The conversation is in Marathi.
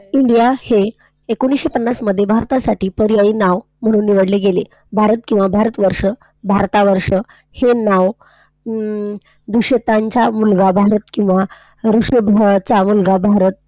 इंडिया हे एकोणिसशे पन्नास मध्ये भारतासाठी पर्यायी नाव म्ह्णून निवडले गेले आहे. भारत किंवा भारतवर्ष, भारतावर्ष हे नाव अं मुलगा भारत किंवा मुलगा भारत,